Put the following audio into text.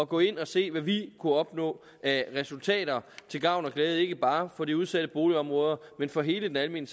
gå ind og se hvad vi kunne opnå af resultater til gavn og glæde ikke bare for de udsatte boligområder men for hele den almene